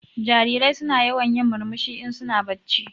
Jarirai suna yawan yin murmushi in su na bacci.